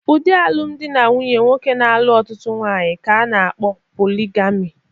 Ụdị alụmdi na nwunye nwoke na-alụ otụtụ nwaanyị ka a na-kpọ poligami.